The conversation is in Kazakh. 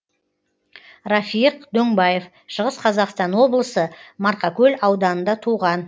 рафиық дөңбаев шығыс қазақстан облысы марқакөл ауданында туған